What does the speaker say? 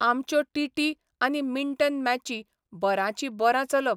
आमच्यो टीटी आनी मिंटन मॅची बरांचीं बरां चलप.